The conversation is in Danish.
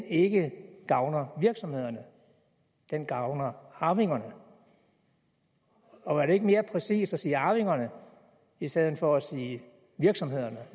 ikke gavner virksomhederne men gavner arvingerne og var det ikke mere præcist at sige arvingerne i stedet for at sige virksomhederne